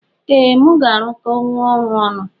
Ee mu ga arụkọnwu ọrụ ọnụ.